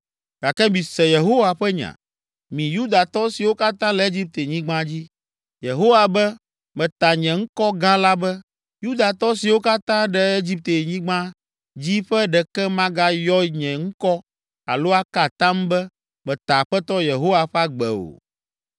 Gake mise Yehowa ƒe nya, mi Yudatɔ siwo katã le Egiptenyigba dzi: ‘Yehowa be, meta nye ŋkɔ gã la be, Yudatɔ siwo kaka ɖe Egiptenyigba dzi ƒe ɖeke magayɔ nye ŋkɔ alo aka atam be, “Meta Aƒetɔ Yehowa ƒe agbe” o,